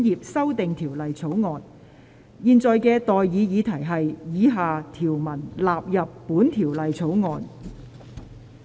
我現在向各位提出的待議議題是：以下條文納入本條例草案。